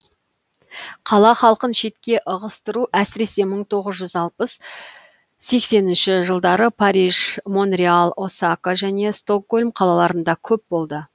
қала халқын шетке ығыстыру әсіресе мың тоғыз жүз алпыс сексенінші жылдары париж монреал осака және стокгольм қалаларында көп болды